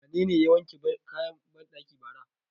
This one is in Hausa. Wanene ya wanke kayan banɗaki bara?